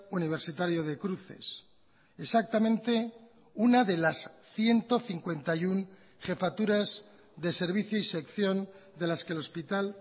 universitario de cruces exactamente una de las ciento cincuenta y uno jefaturas de servicio y sección de las que el hospital